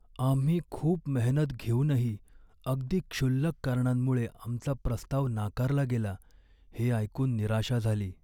आम्ही खूप मेहनत घेऊनही अगदी क्षुल्लक कारणांमुळे आमचा प्रस्ताव नाकारला गेला हे ऐकून निराशा झाली.